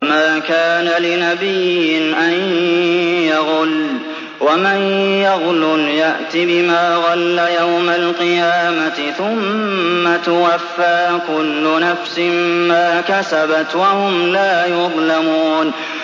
وَمَا كَانَ لِنَبِيٍّ أَن يَغُلَّ ۚ وَمَن يَغْلُلْ يَأْتِ بِمَا غَلَّ يَوْمَ الْقِيَامَةِ ۚ ثُمَّ تُوَفَّىٰ كُلُّ نَفْسٍ مَّا كَسَبَتْ وَهُمْ لَا يُظْلَمُونَ